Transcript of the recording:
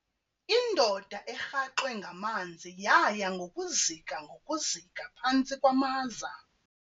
Indoda erhaxwe ngamanzi yaya ngokuzika ngokuzika phantsi kwamaza.